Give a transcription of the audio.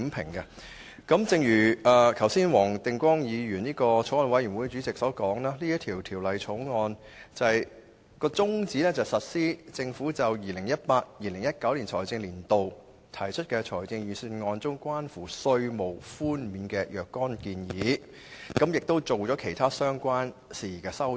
正如法案委員會主席黃定光議員剛才所說，《條例草案》的宗旨是實施 2018-2019 年度財政預算案中有關稅務寬免的若干建議，以及就其他事宜提出相關修訂。